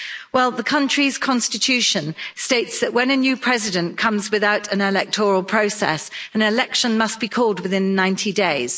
Well, the country's constitution states that when a new President comes without an electoral process, an election must be called within 90 days.